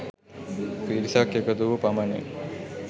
පිරිසක් එකතු වූ පමණින්